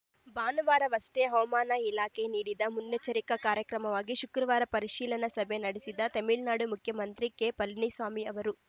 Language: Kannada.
ಭಾನುವಾರವಷ್ಟೇ ಹವಮಾನ ಇಲಾಖೆ ನೀಡಿದ ಮುನ್ನೆಚ್ಚರಿಕಾ ಕ್ರಮವಾಗಿ ಶುಕ್ರವಾರ ಪರಿಶೀಲನಾ ಸಭೆ ನಡೆಸಿದ ತಮಿಳುನಾಡು ಮುಖ್ಯಮಂತ್ರಿ ಕೆಪಳನಿಸ್ವಾಮಿ ಅವರು